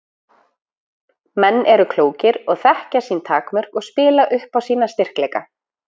Menn eru klókir og þekkja sín takmörk og spila upp á sína styrkleika.